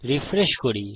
refresh করি